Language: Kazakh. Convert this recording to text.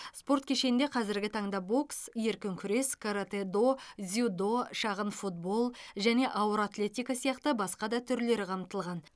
спорт кешенінде қазіргі таңда бокс еркін күрес каратэ до дзюдо шағын футбол және ауыр атлетика сияқты басқа да түрлері қамтылған